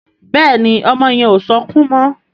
Béèni ọmọ yen o sọkún mo